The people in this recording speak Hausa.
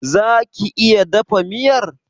Za ki iya dafa miyar?